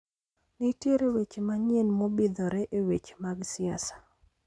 Nitiere weche manyien mobidhore eweche mag siasa